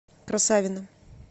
красавино